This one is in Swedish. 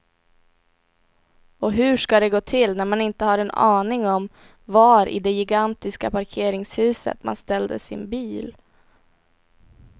Och hur ska det gå till när man inte har en aning om var i det gigantiska parkeringshuset man ställde sin bil.